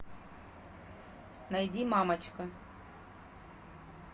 найди мамочка